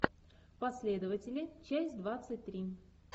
последователи часть двадцать три